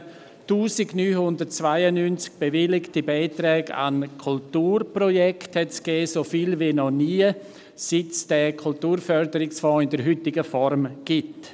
Es gab 1992 bewilligte Beiträge an Kulturprojekte, so viele wie noch nie, seit es den Kulturförderungsfonds in der heutigen Form gibt.